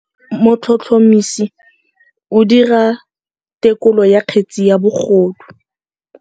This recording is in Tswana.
Motlhotlhomisi o dira têkolô ya kgetse ya bogodu.